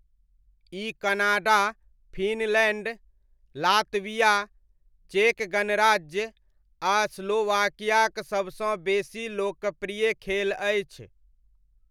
ई Canada, Finland, Latvia, चेक गणराज्य आ स्लोवाकियाक सबसँ बेसी लोकप्रिय खेल अछि।